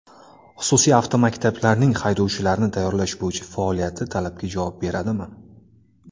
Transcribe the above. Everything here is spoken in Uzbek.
Xususiy avtomaktablarning haydovchilarni tayyorlash bo‘yicha faoliyati talabga javob beradimi?.